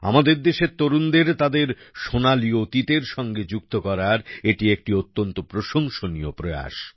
আমাদের দেশের তরুণদের তাদের সোনালী অতীতের সঙ্গে যুক্ত করার এটি একটি অত্যন্ত প্রশংসনীয় প্রয়াস